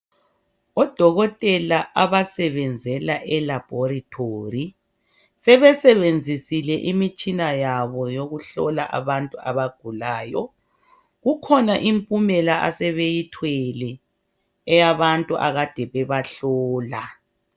Odokotela abasebenzela elaboratory sebesebenzisile imitshina yabo yokuhlola abantu abagulayo kukhona impumela asebeyithwele eyabantu ekade bebahlola.